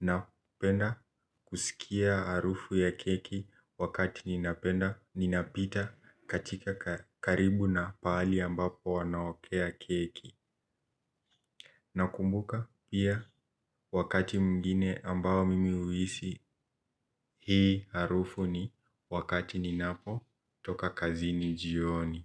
Napenda kusikia harufu ya keki wakati ninapenda, ninapita katika karibu na pahali ambapo wanaokea keki nakumbuka pia wakati mwingine ambao mimi huhisi hii harufu ni wakati ninapotoka kazini jioni.